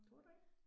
Tror du ikke?